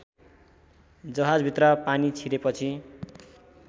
जहाजभित्र पानी छिरेपछि